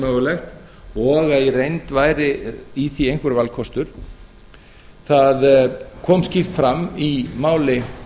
mögulegt og í reynd væri í því einhver valkostur það kom skýrt fram í máli